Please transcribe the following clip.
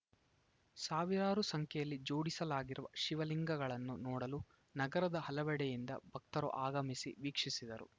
ಸಾವಿರಾರು ಸಂಖ್ಯೆಯಲ್ಲಿ ಜೋಡಿಸಲಾಗಿರುವ ಶಿವಲಿಂಗಗಳನ್ನು ನೋಡಲು ನಗರದ ಹಲವೆಡೆಯಿಂದ ಭಕ್ತರು ಆಗಮಿಸಿ ವೀಕ್ಷಿಸಿದರು